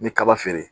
N bɛ kaba feere